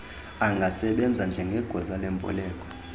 angasebenza njngegosa lemboleko